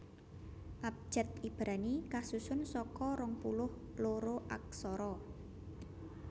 Abjad Ibrani kasusun saka rong puluh loro aksara